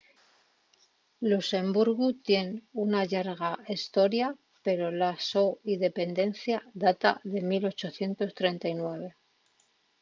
luxemburgu tien una llarga hestoria pero la so independencia data de 1839